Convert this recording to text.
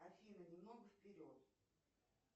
афина немного вперед